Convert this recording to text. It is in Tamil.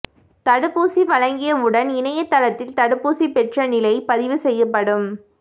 தடுப்பூசி வழங்கியவுடன் இணையதளத்தில் தடுப்பூசி பெற்ற நிலை பதிவு செய்யப்படும்